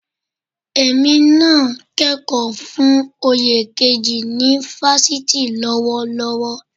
Èmi náà ń kẹ́kọ̀ọ́ fún oyè kejì ni fásitì lọ́wọ́lọ́wọ́